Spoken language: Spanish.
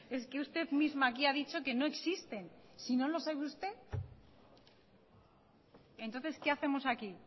es que usted misma aquí ha dicho que no existen si no lo sabe usted entonces qué hacemos aquí